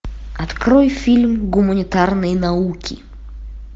открой фильм гуманитарные науки